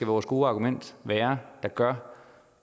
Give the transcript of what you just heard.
vores gode argument være der gør